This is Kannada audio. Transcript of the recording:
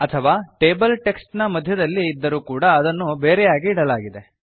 ಅಥವಾ ಟೇಬಲ್ ಟೆಕ್ಸ್ಟ್ ನ ಮಧ್ಯದಲ್ಲಿ ಇದ್ದರೂ ಕೂಡ ಅದನ್ನು ಬೇರೆಯಾಗಿ ಇಡಲಾಗಿದೆ